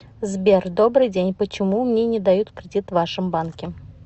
сбер добрый день почему мне не дают кредит в вашем банке